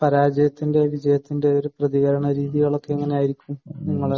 പരാജയത്തിന്റെയും വിജയത്തിന്റെയും ഒരു പ്രതികരണരീതികളൊക്കെ എങ്ങനെയായിരിക്കും നിങ്ങൾ